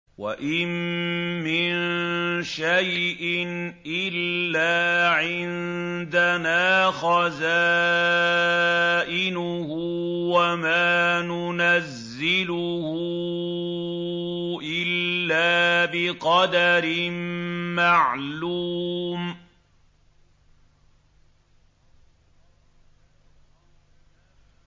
وَإِن مِّن شَيْءٍ إِلَّا عِندَنَا خَزَائِنُهُ وَمَا نُنَزِّلُهُ إِلَّا بِقَدَرٍ مَّعْلُومٍ